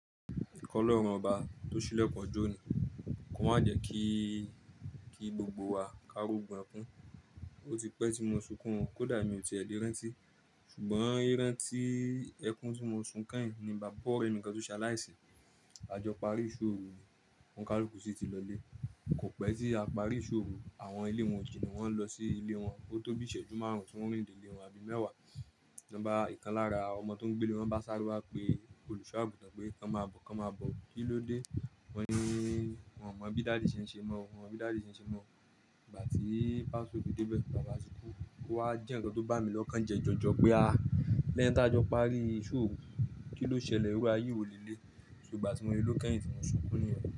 Mo ki Ọlọ́run ọba tó ṣílẹ̀kùn ọjó òní, kò ma jẹ́ kí, kí gbogbo wa kári ogun ẹkún? Ó ti pẹ́ tí mo sunkún, kódà mi ò ti ẹ̀ lé rántí, ṣùgbọ́n ìrántí ẹkún tí mo sun kẹ́yìn ni bàbá ọrẹ mi kan tó ṣe aláìsí. A jọ parí ìṣóòru ní, òun kaluku sí ti lọlé. Kò pẹ́ tí a parí ìṣóòru, àwọn ilé wọn o jìnà wọ́n lọ sí ilé wọn, ó tó bí iṣẹ́jú márùn-ún tí wọ́n rìnde ilé wọn àbí mẹ́wàá. Lọba ìkan lára ọmọ tó ń gbé lé wọ́n bá sáre wá pé, olùṣọ́-àgùntàn pé, "kàn má bọ̀, kàn má bọ̀." Kí ló dé? Wọ́n ni wọ́n mọ̀ bí dádì ṣe ń ṣe mọ́, wọ́n mọ̀ bí dádì ṣe ń ṣe mọ́. Ìgbà tí pastor o fi debẹ̀ bàbá tí kú, ó wá jẹ́ nǹkan tó bá mi lọ́kàn jẹ́ jọjọ pé a lẹ́ni tá jọ parí ìṣóòru, kí ló ṣẹlẹ̀? Irú ààyè wò le léyii. So ìgbà tí mo lè ló lókẹ́yìn tí mo sunkún níyẹn.